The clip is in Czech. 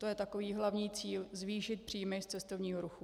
To je takový hlavní cíl - zvýšit příjmy z cestovního ruchu.